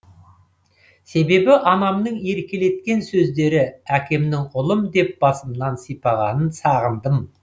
себебі анамның еркелеткен сөздері әкемнің ұлым деп басымнан сипағанын сағындым